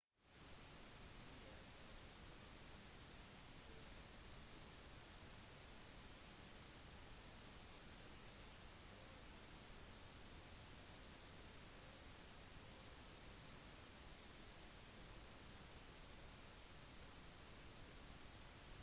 en del terrengløping på vinterstid i kombinasjon med gymarbeid for overkroppen er den beste forberedelsen til løpesesongen